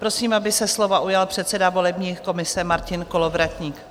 Prosím, aby se slova ujal předseda volební komise Martin Kolovratník.